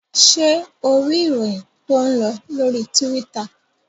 Ṣé o rí ìròyìn tó ń lọ lórí Tíwítà?